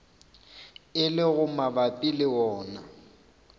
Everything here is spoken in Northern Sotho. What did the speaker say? e lego mabapi le wona